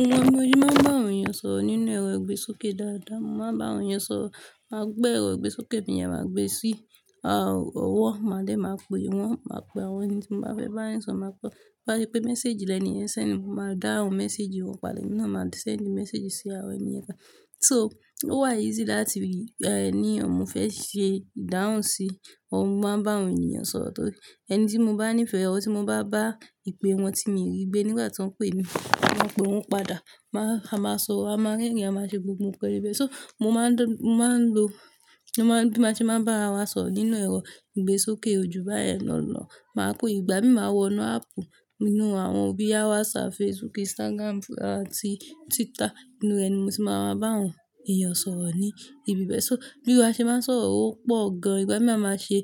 Ìran mo máa ń bá àwọn èèyàn sọ̀rọ̀ nínú ẹ̀rọ ìgbésókè dáadáa. Mo máa ń bá àwọn èèyàn sọ̀rọ̀, máa gbé ẹ̀rọ ìgbésókè mi yẹn máa gbe sí, ọwọ́, màá lé máa pe wọ́n, màá pe àwọn ẹni tí mo bá fẹ́ bá wọn sọ̀rọ̀, màá pè é, bá yé pé message lẹ̀ni yẹn sẹ̀ndi, mo máa dáhùn message wọ́n padà, emi nà máa sẹ̀ndi message sí àwọn èèyàn kan. So ó wà easy láti rí, ẹni ọmọ fẹ́ ṣe ìdáhùn sí, ọmọ máa ń bá àwọn èèyàn sọ̀rọ̀ torí ẹni tí mo bá ní ìfẹ́, ọwọ́ tí mo bá bá ìpè wọn tí mo rí gbé nígbà tí wọ́n ń pe mí, wọ́n ń pe wọ́n padà. Máa, a máa sorọ, a máa rẹ́rìn, a máa ṣe gbogbo nǹkan níbẹ̀. So mo máa ń dọ̀, mo máa ń lo, mo máa ń, bí mo ṣe máa ń bá wa sọ̀rọ̀ nínú ẹ̀rọ ìgbésókè ojú bá ẹ náà lọ, màá kó ìgbà mí máa wọnú áàpù nínú àwọn boya WhatsApp, Facebook, Instagram àti Twitter nínú ẹni mo sì máa ń bá àwọn èèyàn sọ̀rọ̀ ní ibi bẹ́ẹ̀. So bí a ṣe máa ń sọ̀rọ̀ ó pọ̀ gan. Ìgbà mí máa ṣe,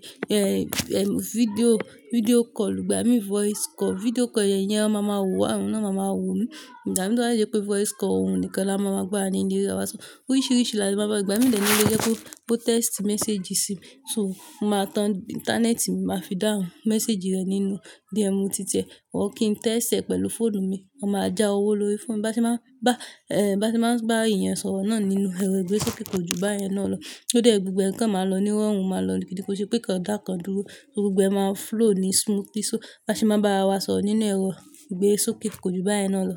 fídíò, fídíò call, ìgbà mí voice call. Fídíò call yẹn yẹn, wọn máa mọ wa, awa náà amáa wọ won. Ìgba tọ́ bajé pé voice call òun nìkan la máa mọ̀ gba ni ilé wa. So oríṣìíríṣìí là tí a máa ń bá, ìgbà mí lẹ́nu ló jẹ́ kó, kó text message sí mi. So mo máa tan íńtánẹ́ẹ̀tì mi, màá fi dáhùn message rẹ̀ nínú DM titẹ̀. Or kìn tẹ́sii re pẹ̀lú fóònù mi. Wọ́n máa já owó lórí fóònù. Bá ṣe máa ń bá, bá ṣe máa ń bá èèyàn sọ̀rọ̀ náà nínú ẹ̀rọ ìgbésókè ojú bá ẹ náà lọ, ó jẹ́ gbogbo ẹnikan máa lọ níwọ́n, wọn máa lọ dìkódìkó kii se pe íkàn dá ikàn dúró. So gbogbo ẹ máa flow ní smoothly. So bá ṣe máa bá wa sọ̀rọ̀ nínú ẹ̀rọ ìgbésókè ojú bá ẹ náà lọ.